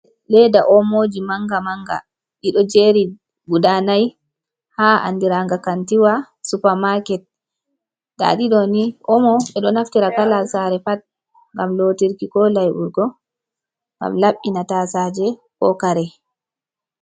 Leeda omoji manga-manga, ɗi ɗo jeri guda nai ha andiranga kantiwa supa maket. Nda ɗi ɗo ni, Omo ɓe ɗo naftira kala sare pat ngam lootirki ko laiɓurgo, ngam laɓɓina tasaaje ko kare.